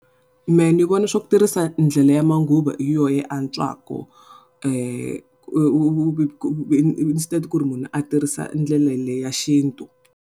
Mehe ni vona swa ku tirhisa ndlela ya manguva hi yona yi antswaka instead ku ri munhu a tirhisa ndlelo leyi ya xintu.